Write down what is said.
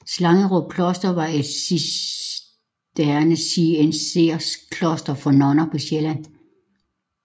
Slangerup Kloster var et cistercienserkloster for nonner på Sjælland